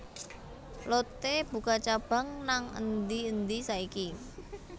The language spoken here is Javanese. Lotte buka cabang nang endi endi saiki